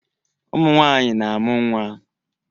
Ụmụ nwaanyị na-amụ nwaa.